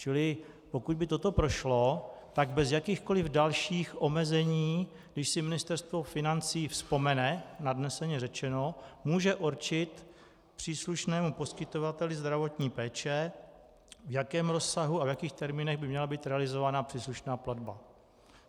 Čili pokud by toto prošlo, tak bez jakýchkoli dalších omezení, když si Ministerstvo financí vzpomene, nadneseně řečeno, může určit příslušnému poskytovateli zdravotní péče, v jakém rozsahu a v jakých termínech by měla být realizována příslušná platba.